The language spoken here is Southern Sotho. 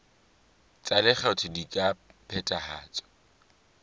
tsa lekgetho di ka phethahatswa